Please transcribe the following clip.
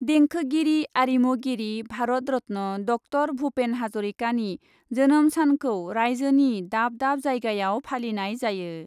देंखोगिरि , आरिमुगिरि भारत रत्न ड ॰ भुपेन हाजरिकानि जोनोम सानखौ राइज्योनि दाब दाब जायगायाव फालिनाय जायो ।